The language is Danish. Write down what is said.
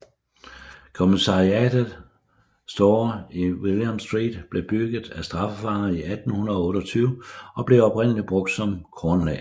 Commissariat Store i William Street blev bygget af straffefanger i 1828 og blev oprindeligt brugt som kornlager